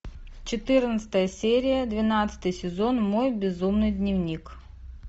четырнадцатая серия двенадцатый сезон мой безумный дневник